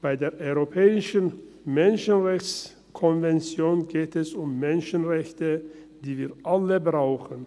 Bei der EMRK geht es um Menschenrechte, die wir alle brauchen.